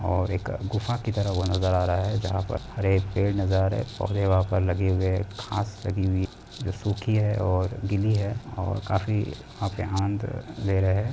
और एक गुफा तरह वह नज़र आ रहा हैं। जहाँ पर हर एक पेड़ नज़र आ रहा हैं। पौधे वहाँ लगे हुए हैं घास लगी हुई जो सुखी हैं और गीली हैं और काफी ले रहे हैं।